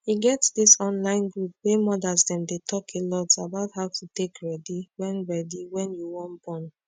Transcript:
e get this online group wey modas them dey talk alot about how to take ready wen ready wen you wan born